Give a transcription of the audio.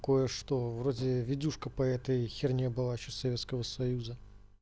кое-что вроде видюшка по этой херне было ещё советского союза